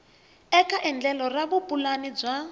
eka endlelo ra vupulani bya